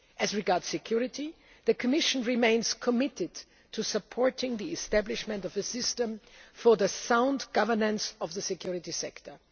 success. As regards security, the Commission remains committed to supporting the establishment of a system for the sound governance of the security